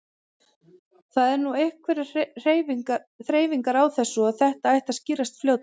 Það eru nú einhverjar þreifingar á þessu en þetta ætti að skýrast fljótlega.